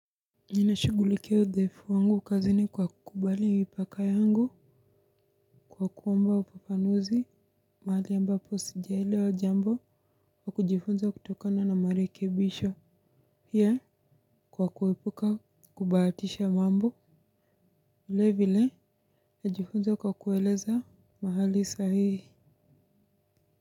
Ninashugulikia uthaifu wangu ukazini kwa kubali mipaka yangu kwa kuomba ufafanuzi mahali ambapo sijaelewa jambo kwa kujifunza kutokana na marekebisho. Pia kwa kuepuka kubahatisha mambo vile vile najifunza kwa kueleza mahali sahihi.